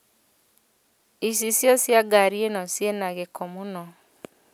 Icicio cia gari ĩno ciĩna gĩko mũno